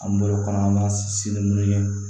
An bolo kɔnɔna si ni munnu ye